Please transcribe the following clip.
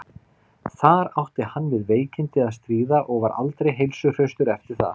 þar átti hann við veikindi að stríða og var aldrei heilsuhraustur eftir það